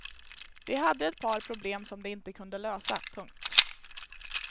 De hade ett par problem som de inte kunde lösa. punkt